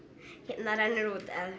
hérna rennur út eða